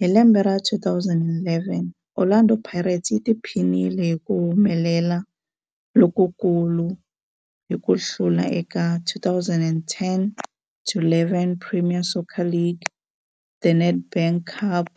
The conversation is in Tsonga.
Hi lembe ra 2011, Orlando Pirates yi tiphinile hi ku humelela lokukulu hi ku hlula eka 2010-11 Premier Soccer League, The Nedbank Cup,